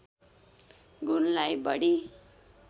गुणलाई बढी